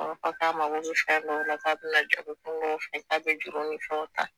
A b'a fɔ K'a mago bɛ fɛn dɔw la k'a bɛna jagokun juru ni fɛn ta.